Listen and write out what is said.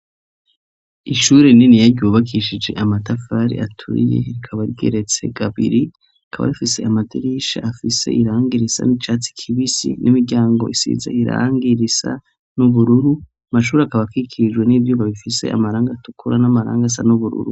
ishure niniya ryubakishije amatafari aturiye rikaba rigeretse gabiri ikaba rifise amadirisha afise irangi risa n'icatsi kibisi n'imiryango isize irangi risa n'ubururu amashuri akaba kikijwe n'ivyuma bifise amarangi atukura n'amarangi asa n'ubururu